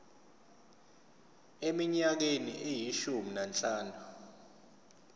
eminyakeni eyishumi nanhlanu